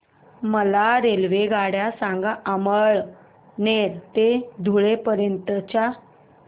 मला रेल्वेगाड्या सांगा अमळनेर ते धुळे पर्यंतच्या